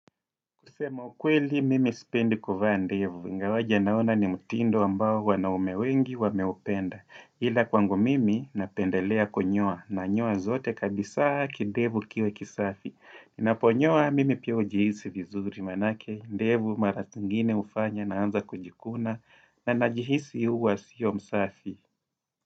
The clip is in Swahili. Kusema ukweli mimi sipendi kuvaa ndevu, ingawaje naona ni mtindo ambao wanaume wengi wameupenda. Ila kwangu mimi napendelea kunyoa, nanyoa zote kabisaa kidevu kiwe kisafi. Ninaponyoa mimi pia hujihisi vizuri maanake, ndevu mara zingine ufanya naanza kujikuna, na najihisi huwa sio msafi.